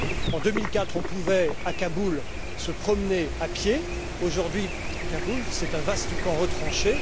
En 2004, on pouvait, à Kaboul, se promener à pied. Aujourd'hui, Kaboul est un vaste camp retranché.